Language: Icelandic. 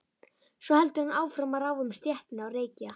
Svo heldur hann áfram að ráfa um stéttina og reykja.